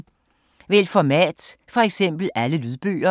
Vælg format: for eksempel alle lydbøger